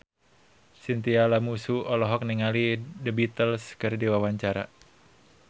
Chintya Lamusu olohok ningali The Beatles keur diwawancara